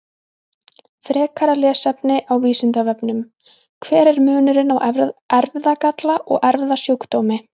Frekara lesefni á Vísindavefnum: Hver er munurinn á erfðagalla og erfðasjúkdómi?